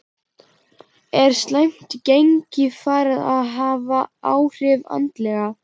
Er slæmt gengi farið að hafa áhrif andlega?